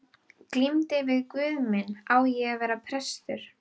Glímdi við guð minn: Á ég að verða prestur?